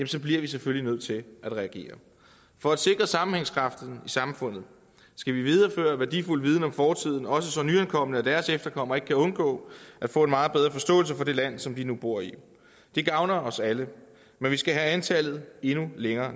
så bliver vi selvfølgelig nødt til at reagere for at sikre sammenhængskraften i samfundet skal vi videreføre værdifuld viden om fortiden også så nyankomne og deres efterkommere ikke kan undgå at få en meget bedre forståelse for det land som de nu bor i det gavner os alle men vi skal have antallet endnu længere